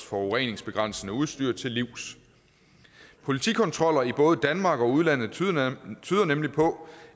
forureningsbegrænsende udstyr til livs politikontroller i både danmark og udlandet tyder nemlig på